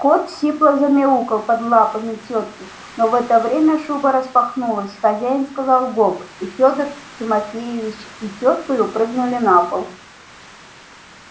кот сипло замяукал под лапами тётки но в это время шуба распахнулась хозяин сказал гоп и фёдор тимофеевич и тёткою прыгнули на пол